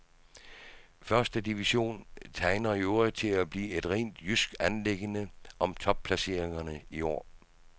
Første division tegner i øvrigt til at blive et rent jysk anliggende om topplaceringerne i år.